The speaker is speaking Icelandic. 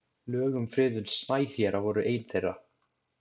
Lög um friðun snæhéra voru ein þeirra.